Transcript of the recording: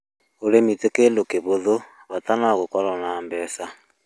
Ũrĩmi ti kĩndũ kĩhũthũ, bata no gũkorũo na mbeca